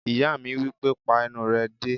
Ìyá mi wípé "pa ẹnu rẹ dé!"